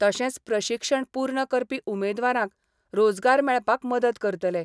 तशेंच प्रशिक्षण पूर्ण करपी उमेदवारांक रोजगार मेळपाक मदत करतले.